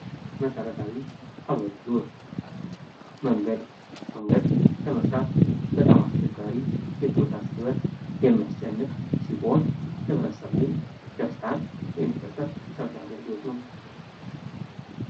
መሠረታዊ አገልግሎት መንገድ ለመስራት በጣም አስቸጋሪ የተወሳሰበ የሚያስጨንቅ ሲሆን ለህብረተሰቡ ደስታን የሚፈጥር የመሰረታዊ አገልግሎት ነው።